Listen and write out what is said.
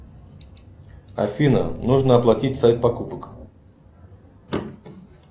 афина нужно оплатить сайт покупок